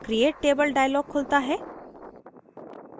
create table dialog खुलता है